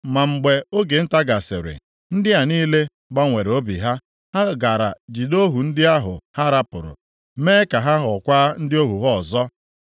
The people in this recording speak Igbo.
Ma mgbe oge nta gasịrị, ndị a niile gbanwere obi ha. Ha gara jide ohu ndị ahụ ha hapụrụ, mee ka ha ghọọkwa ndị ohu ha ọzọ.